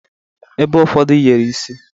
Ebe ụfọdụ yere isi.